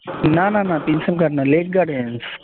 না না না না প্রিন্সেপ ঘাট না লেক গার্ডেনস